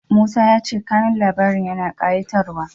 Musa ya ce kanun labarin yana ƙayatarwa.